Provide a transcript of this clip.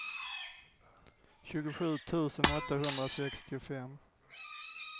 tjugosju tusen åttahundrasextiofem